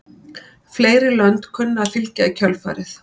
Fleiri lönd kunna að fylgja í kjölfarið.